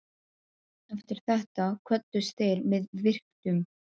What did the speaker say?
Eftir þetta kvöddust þeir með virktum.